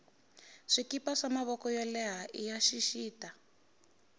swikipa swa mavoko yo leha iya xixita